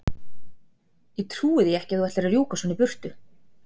Ég trúi því ekki að þú ætlir að fara að rjúka svona í burtu!